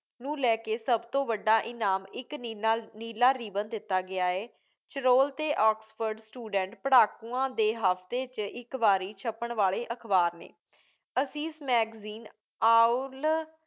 ਨੂੰ ਲੈ ਕੇ ਸਭ ਤੋਂ ਵੱਡਾ ਇਨਾਮ ਇੱਕ ਨੀਲਾ ਨੀਲਾ ਰਿਬਨ ਦਿੱਤਾ ਗਿਆ ਹੈ। ਚਰੋਲ ਅਤੇ ਆਕਸਫ਼ੋਰਡ student ਪੜ੍ਹਾਕੂਆਂ ਦੇ ਹਫ਼ਤੇ 'ਚ ਇਕਵਾਰੀ ਛੱਪਣਵਾਲੇ ਅਖ਼ਬਾਰ ਨੇਂ। Isis magazine, ਆਓਲ